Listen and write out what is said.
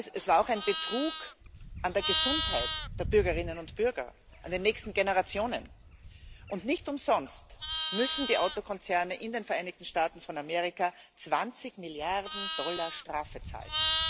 Es war auch ein Betrug an der Gesundheit der Bürgerinnen und Bürger, an den nächsten Generationen, und nicht umsonst müssen die Autokonzerne in den Vereinigten Staaten von Amerika 20 Milliarden Dollar Strafe zahlen.